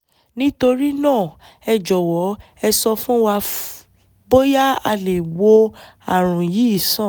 nítorí náà ẹ jọ̀wọ́ ẹ sọ fún wa bóyá a lè wo ààrùn yìí sàn